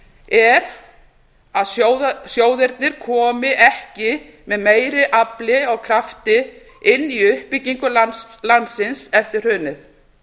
er að sjóðirnir komi ekki af meira afli og krafti inn í uppbyggingu landsins eftir hrunið